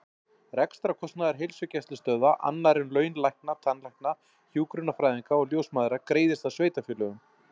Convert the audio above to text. Rekstrarkostnaður heilsugæslustöðva, annar en laun lækna, tannlækna, hjúkrunarfræðinga og ljósmæðra, greiðist af sveitarfélögum.